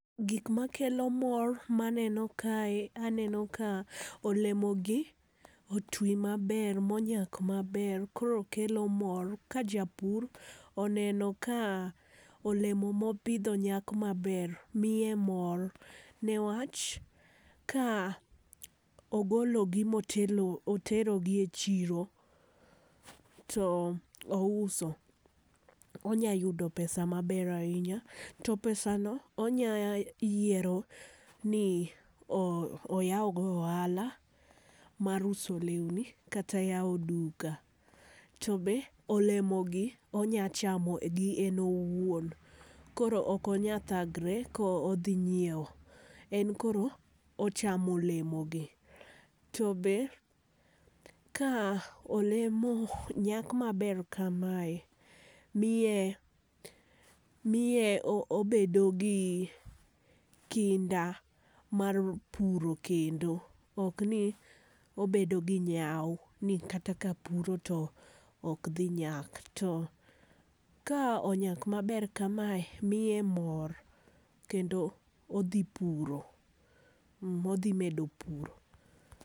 Gik ma kelo mor ma aneno ka aneno ka olemo gi otwi ma ber ma onyak ma ber koro kelo mor ka jopur oneno ka olemo ma opidho nyak ma ber miye mor ne wach ka ogolo gi to otero gi e chiro to ouso, onya yudo pesa ma ber ainya. To pesa no onya yiero ni oyaw go ohala, mar uso lewni kata yawo duka. To be olemo gi onya chamo gi en owuon koro ok onya thagre ko odhi nyiewo en koro ochamo olemo gi. To be ka olemo nyak ma ber ka ma e miye miye obedo gi kinda mar puro kendo ok ni obedo gi nyau ni kata ka apuro to ok dhi nyak. To ka onyak ma ber ka mae to miye mor kendo odhi puro odhi medo puro.